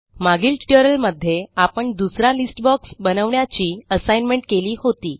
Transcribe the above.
मागील ट्युटोरियलमध्ये आपण दुसरा लिस्ट बॉक्स बनवण्याची असाइनमेंट केली होती